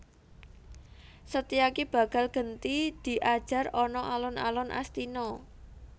Setyaki bakal genti diajar ana alun alun Astina